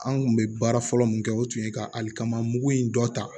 An kun bɛ baara fɔlɔ min kɛ o tun ye ka alikama mugu in dɔ ta